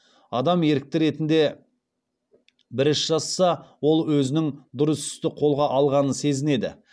адам ерікті ретінде бір іс жасаса ол өзінің дұрыс істі қолға алғанын сезінеді